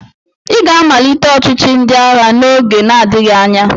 Ị ga-amalite ọchịchị ndị agha n'oge na-adịghị anya!